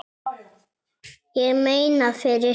Ég meina, fyrir þig.